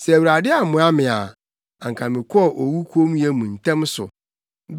Sɛ Awurade ammoa me a, anka mekɔɔ owu kommyɛ mu ntɛm so.